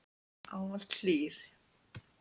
Ávallt hlýr.